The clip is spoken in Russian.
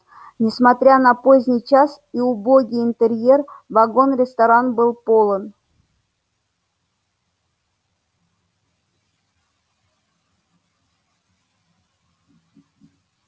несмотря на поздний час и убогий интерьер вагон-ресторан был полон